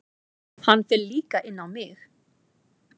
Hann fer líka inn á mig.